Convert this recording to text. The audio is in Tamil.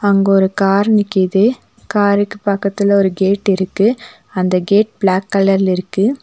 அங்க ஒரு கார் நிக்குது காருக்கு பக்கத்துல ஒரு கேட் இருக்கு அந்த கேட் பிளாக் கலர்ல இருக்கு.